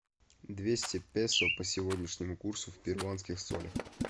двести песо по сегодняшнему курсу в перуанских солях